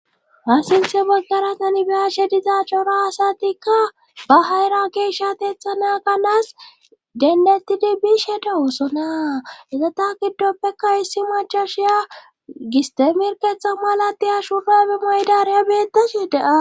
Ha sintey baggara qanbeshe dizaacora asatikka ba hayra geeshateethana kanaas dendettidi biishe dawusona ezata giddoppeka issi machashiya gistemirketha malatiya shubabe maydareya beettashi daa.